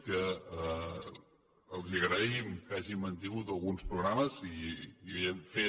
que els agraïm que hagin mantingut alguns programes i n’hem fet